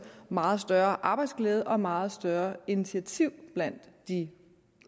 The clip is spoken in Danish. meget større arbejdsglæde og meget større initiativ blandt de